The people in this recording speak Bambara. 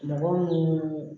Mɔgɔ minnu